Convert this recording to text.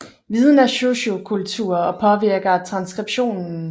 Viden er sociokulturel og påvirker transskriptionen